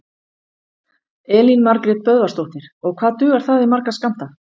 Elín Margrét Böðvarsdóttir: Og hvað dugar það í marga skammta?